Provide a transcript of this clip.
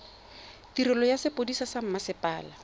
tirelo ya sepodisi sa mmasepala